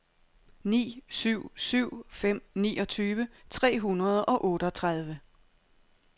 ni syv syv fem niogtyve tre hundrede og otteogtredive